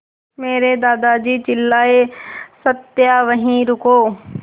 मेरे दादाजी चिल्लाए सत्या वहीं रुको